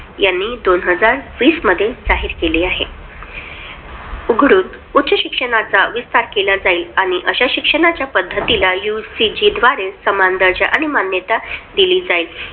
यांनी दोन हजार वीस मध्ये जाहीर केले आहे. उच्च शिक्षणाचा विस्तार केला जाईल आणि अशा शिक्षणाच्या पद्धतीला UCG द्वारे समान दर्जा आणि मान्यता दिली जाईल.